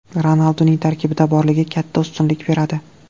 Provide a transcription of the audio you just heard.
Ronalduning tarkibda borligi katta ustunlik beradi.